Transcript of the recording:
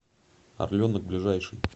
орленок ближайший